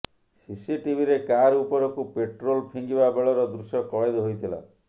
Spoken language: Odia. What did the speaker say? ସିସିଟିଭିରେ କାର ଉପରକୁ ପେଟ୍ରୋଲ ଫିଙ୍ଗିବା ବେଳର ଦୃଶ୍ୟ କଏଦ ହୋଇଥିଲା